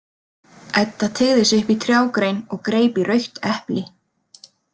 Edda teygði sig upp í trjágrein og greip í rautt epli.